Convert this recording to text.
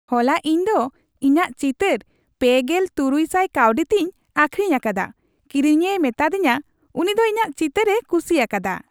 ᱦᱚᱞᱟ ᱤᱧ ᱫᱚ ᱤᱧᱟᱜ ᱪᱤᱛᱟᱹᱨ ᱓᱖᱐᱐ ᱠᱟᱹᱣᱰᱤ ᱛᱮᱧ ᱟᱹᱠᱷᱨᱤᱧ ᱟᱠᱟᱫᱟ ᱾ ᱠᱤᱨᱤᱧᱤᱭᱟᱹᱭ ᱢᱮᱛᱟᱫᱤᱧᱟ ᱩᱱᱤ ᱫᱚ ᱤᱧᱟᱜ ᱪᱤᱛᱟᱹᱨᱮ ᱠᱩᱥᱤᱭᱟᱠᱟᱫᱟ !